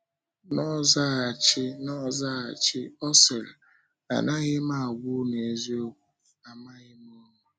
N’ọzaghachi, N’ọzaghachi, ọ sịrị, “Anaghị m agwa unu eziokwu, amaghị m unu.”